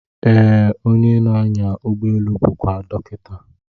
Ee, onye na-anya ụgbọelu bụkwa dọkịta.